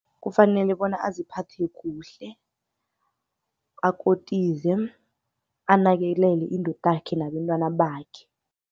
Kufanele bona aziphathe kuhle, akotize, anakelele indodakhe nabentwana bakhe.